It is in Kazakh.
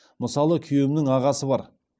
мысалы күйеуімнің ағасы бар